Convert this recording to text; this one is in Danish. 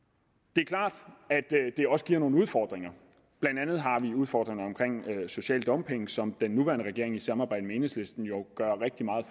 det er klart at det også giver nogle udfordringer blandt andet har vi en udfordring med social dumping som den nuværende regering i samarbejde med enhedslisten jo gør rigtig meget